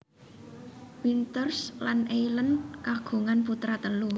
Winters lan Eileen kagungan putra telu